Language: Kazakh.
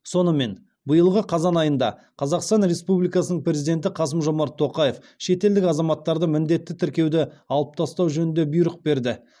сонымен биылғы қазан айында қазақстан республикасының президенті қасым жомарт тоқаев шетелдік азаматтарды міндетті тіркеуді алып тастау жөнінде бұйрық берді